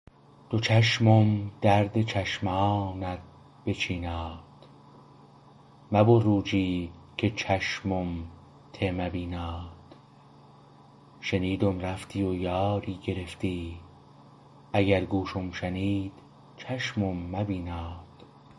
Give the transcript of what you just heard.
دو چشمم درد چشمانت بچیناد مبو روجی که چشمم ته مبیناد شنیدم رفتی و یاری گرفتی اگر گوشم شنید چشمم مبیناد